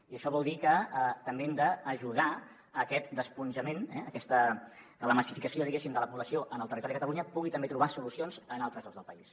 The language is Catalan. i això vol dir que també hem d’ajudar a aquest esponjament que la massificació de la població en el territori de catalunya pugui també trobar solucions en altres llocs del país